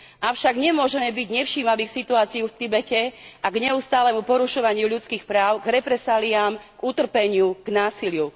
Avšak nemôžeme byť nevšímaví k situácii v Tibete a k neustálemu porušovaniu ľudských práv, k represáliám, k utrpeniu, k násiliu.